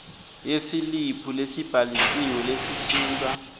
yesiliphu lesibhalisiwe lesisuka